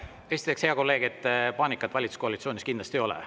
Esiteks, hea kolleeg, paanikat valitsuskoalitsioonis kindlasti ei ole.